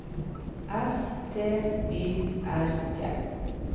S T Y R T